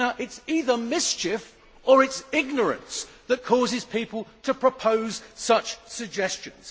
It is either mischief or it is ignorance that causes people to propose such suggestions.